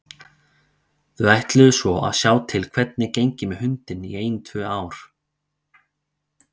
Þau ætluðu svo að sjá til hvernig gengi með hundinn í ein tvö ár.